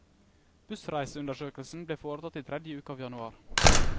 Bussreiseundersøkelsen ble foretatt i tredje uke av januar.